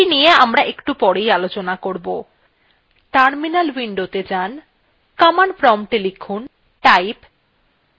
terminal উইন্ডোgo যাjan command প্রম্পটএ লিখুন